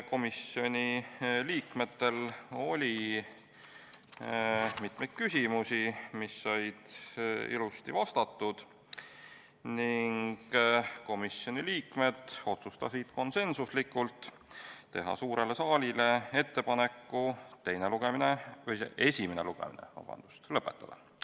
Komisjoni liikmetel oli mitmeid küsimusi, mis said ilusti vastatud, ning komisjoni liikmed otsustasid konsensuslikult teha suurele saalile ettepanek esimene lugemine lõpetada.